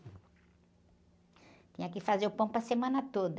Tinha que fazer o pão para a semana toda.